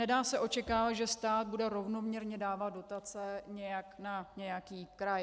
Nedá se očekávat, že stát bude rovnoměrně dávat dotace na nějaký kraj.